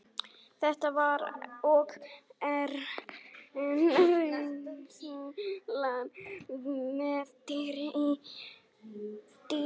Þetta var og er enn reynslan með dýr í dýragörðum.